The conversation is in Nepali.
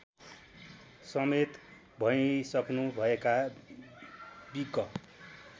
समेत भइसक्नुभएका बिक